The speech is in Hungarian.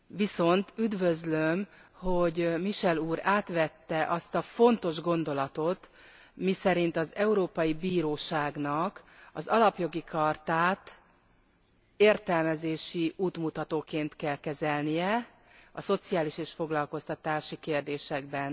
Viszont üdvözlöm, hogy Michel úr átvette azt a fontos gondolatot, miszerint az Európai Bíróságnak az Alapjogi Chartát értelmezési útmutatóként kell kezelnie a szociális és foglalkoztatási kérdésekben.